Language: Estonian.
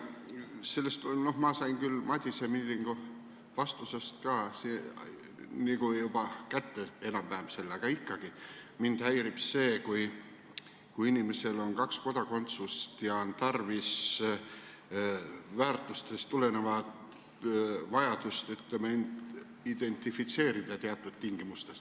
Ma sain küll vastusest Madis Millingule ka selle juba enam-vähem kätte, aga ikkagi mind häirib see, kui inimesel on kaks kodakondsust ja on väärtustest tulenevalt vajadus end teatud tingimustes identifitseerida.